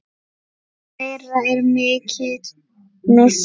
Þeirra er mikill missir.